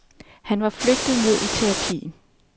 Han var flygtet ned i terapien.